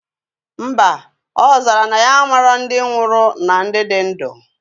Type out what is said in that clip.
Mba, ozara na ya amalo ndi nwurue na ndi di ndu